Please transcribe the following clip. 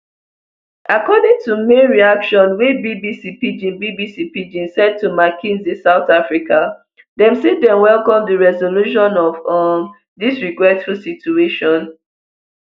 according to mail reaction wey bbc pidgin bbc pidgin send to mckinsey south africa dem say dem welcome di resolution of um dis regretful situation